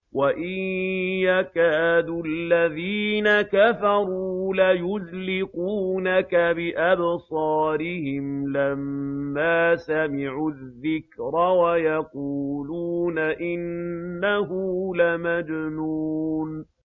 وَإِن يَكَادُ الَّذِينَ كَفَرُوا لَيُزْلِقُونَكَ بِأَبْصَارِهِمْ لَمَّا سَمِعُوا الذِّكْرَ وَيَقُولُونَ إِنَّهُ لَمَجْنُونٌ